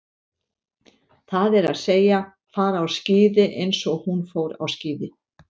Það er að segja, fara á skíði eins og hún fór á skíði.